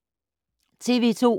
TV 2